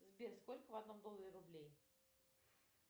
сбер сколько в одном долларе рублей